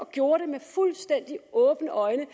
gjorde det med fuldstændig åbne øjne